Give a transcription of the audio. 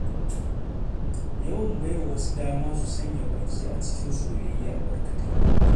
Yawan baiwa wasu dama su sanya baki a cikin soyayya barkatai.